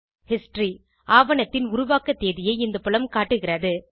history - ஆவணத்தின் உருவாக்க தேதியை இந்த புலம் காட்டுகிறது